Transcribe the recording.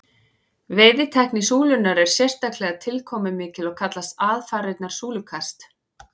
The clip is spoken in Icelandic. veiðitækni súlunnar er sérstaklega tilkomumikil og kallast aðfarirnar súlukast